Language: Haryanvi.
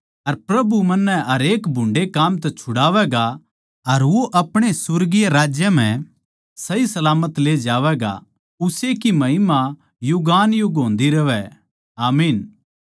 अर प्रभु मन्नै हरेक भुन्डे़ काम तै छुड़ावैगा अर वो अपणे सुर्गीय राज्य म्ह सहीसलामत ले जावैगा उस्से की महिमा युगानुयुग होन्दी रहवै आमीन